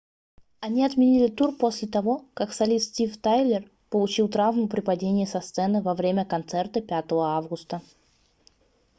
они отменили тур после того как солист стив тайлер получил травму при падении со сцены во время концерта 5 августа